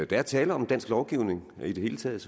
der er tale om dansk lovgivning i det hele taget